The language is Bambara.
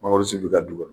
Mangoro si bɛ ka du